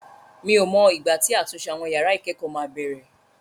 Mi ò mọ ìgbà tí àtúnṣe àwọn yàrá ìkẹ́kọ̀ọ́ máa bẹ̀rẹ̀.